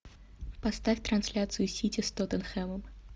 поставь трансляцию сити с тоттенхэмом